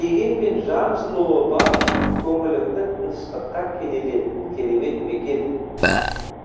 дегенмен жан жылуы бар көңіліңді тыныштыққа кенелтетін керемет мекен